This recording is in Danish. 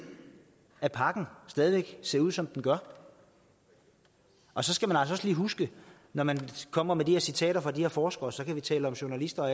at pakken stadig væk ser ud som den gør og så skal man altså også lige huske når man kommer med de citater fra de her forskere så kan vi tale om journalister og